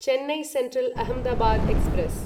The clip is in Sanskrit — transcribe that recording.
Chennai central Ahmedabad express